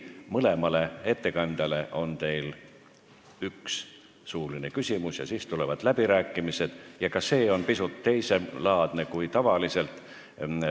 Mõlemale ettekandjale on teil võimalik esitada üks suuline küsimus ja siis tulevad läbirääkimised, mis on ka pisut teiselaadsed kui tavaliselt.